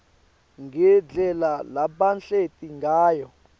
ngendlela labahleti ngayo